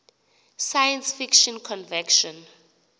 science fiction convention